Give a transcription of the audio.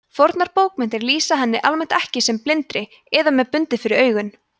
fornar bókmenntir lýsa henni almennt ekki sem blindri eða með bundið fyrir augun